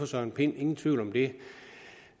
søren pind ingen tvivl om det